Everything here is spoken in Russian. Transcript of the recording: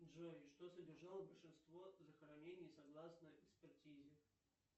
джой что содержало большинство захоронений согласно экспертизе